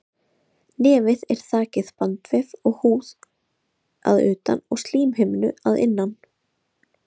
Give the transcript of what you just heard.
Nefið er þakið bandvef og húð að utan og slímhimnu að innan.